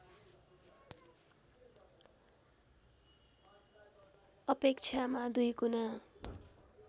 अपेक्षामा दुईगुना